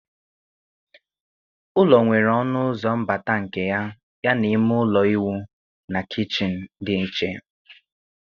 Ụlọ nwere ọnụ ụzọ mbata nke ya, yana ime ụlọ ịwụ na kichin dị iche.